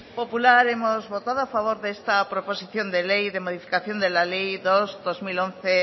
popular hemos votado a favor de esta proposición de ley de modificación de la ley dos barra dos mil once